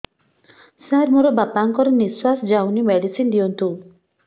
ସାର ମୋର ବାପା ଙ୍କର ନିଃଶ୍ବାସ ଯାଉନି ମେଡିସିନ ଦିଅନ୍ତୁ